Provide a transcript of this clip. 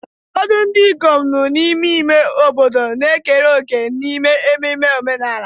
Ụfọdụ ndị ikom nọ n'ime ime obodo na-ekere òkè n'ememme omenala.